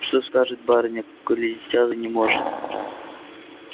что скажет барыня коли дитя занеможет